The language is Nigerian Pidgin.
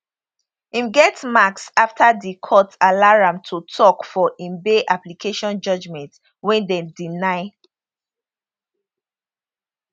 im get marks afta di court allow am to tok for im bail application judgement wey dem deny